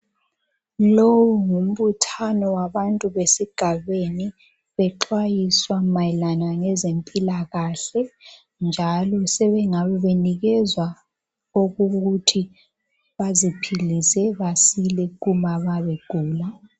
Lowu ngumbuthano wabantu besigabeni bexwayiswa mayelana ngezempilakahle njalo sebengabe benikezwa okokuthi baziphilise basile uma nxa begula